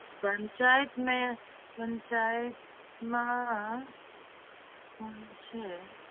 પંચાયત ને પંચાયત માં કોણ છે?